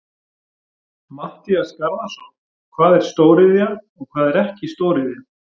Matthías Garðarsson: Hvað er stóriðja og hvað er ekki stóriðja?